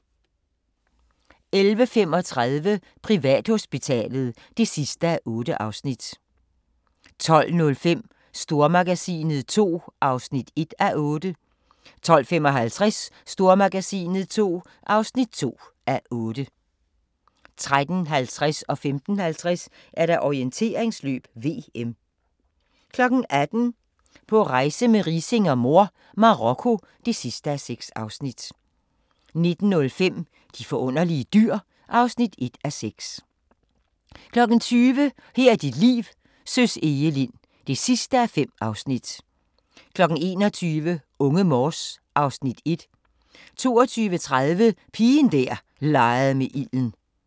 11:35: Privathospitalet (8:8) 12:05: Stormagasinet II (1:8) 12:55: Stormagasinet II (2:8) 13:50: Orienteringsløb: VM 15:50: Orienteringsløb: VM 18:00: På rejse med Riising og mor – Marokko (6:6) 19:05: De forunderlige dyr (1:6) 20:00: Her er dit liv: Søs Egelind (5:5) 21:00: Unge Morse (Afs. 1) 22:30: Pigen der legede med ilden